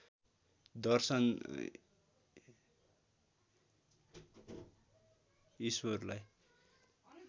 दर्शन ईश्वरलाई